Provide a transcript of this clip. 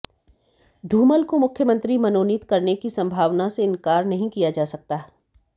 धूमल को मुख्यमंत्री मनोनीत करने की सम्भावना से इंकार नहीं किया जा सकता